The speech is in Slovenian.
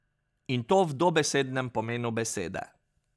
In to v dobesednem pomenu besede.